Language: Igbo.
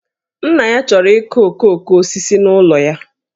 Nna ya chọrọ ịkụ okooko osisi n'ụlọ ya